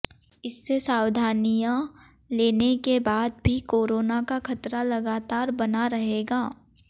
इससे सावधानियां लेने के बाद भी कोरोना का खतरा लगातार बना रहेगा